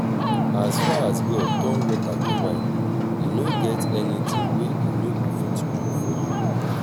as far as god turn water to wine e no get anything wey e no go fit do for you